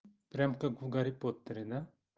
прямо как в гарри поттере да